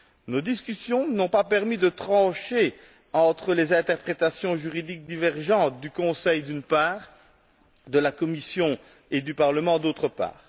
Nos discussions n'ont pas permis de trancher entre les interprétations juridiques divergentes du Conseil, d'une part, et de la Commission et du Parlement, d'autre part.